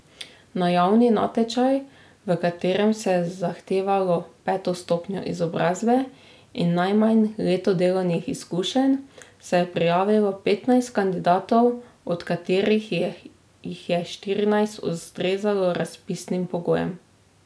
Na javni natečaj, v katerem se je zahtevalo peto stopnjo izobrazbe in najmanj leto delovnih izkušenj, se je prijavilo petnajst kandidatov, od katerih jih je štirinajst ustrezalo razpisnim pogojem.